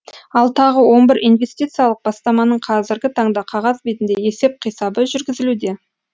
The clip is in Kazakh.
ал тағы он бір инвестициялық бастаманың қазіргі таңда қағаз бетінде есеп қисабы жүргізілуде